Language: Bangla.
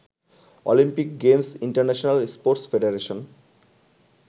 Olympic games international sports federation